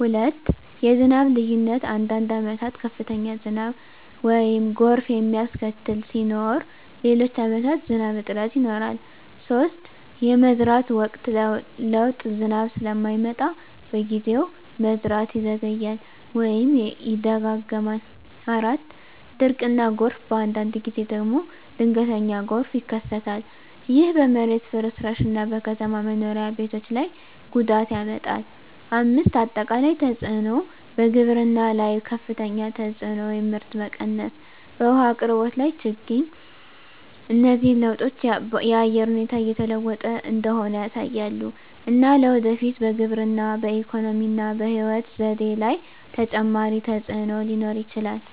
2. የዝናብ ልዩነት አንዳንድ ዓመታት ከፍተኛ ዝናብ (ጎርፍ የሚያስከትል) ሲኖር፣ ሌሎች ዓመታት ዝናብ እጥረት ይኖራል። 3. የመዝራት ወቅት ለውጥ ዝናብ ስለማይመጣ በጊዜው፣ መዝራት ይዘገያል ወይም ይደጋገማል። 4. ድርቅ እና ጎርፍ በአንዳንድ ጊዜ ደግሞ ድንገተኛ ጎርፍ ይከሰታል። ይህ በመሬት ፍርስራሽ እና በከተማ መኖሪያ ቤቶች ላይ ጉዳት ያመጣል። 5. አጠቃላይ ተፅዕኖ በግብርና ላይ ከፍተኛ ተፅዕኖ (ምርት መቀነስ) በውሃ አቅርቦት ላይ ችግኝ እነዚህ ለውጦች የአየር ሁኔታ እየተለወጠ እንደሆነ ያሳያሉ፣ እና ለወደፊት በግብርና፣ በኢኮኖሚ እና በሕይወት ዘዴ ላይ ተጨማሪ ተፅዕኖ ሊኖር ይችላል።